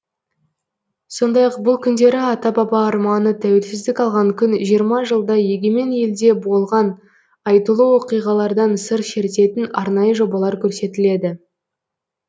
сондай ақ бұл күндері ата баба арманы тәуелсіздік алған күн жиырма жылда егемен елде болған айтулы оқиғалардан сыр шертетін арнайы жобалар көрсетіледі